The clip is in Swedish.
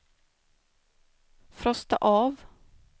frosta av